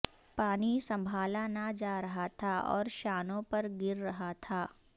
پانی سنبھالا نہ جا رہا تھا اور شانوں پر گر رہا تھا